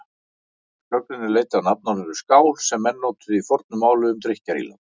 Sögnin er leidd af nafnorðinu skál sem menn notuðu í fornu máli um drykkjarílát.